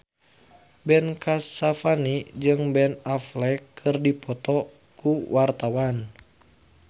Ben Kasyafani jeung Ben Affleck keur dipoto ku wartawan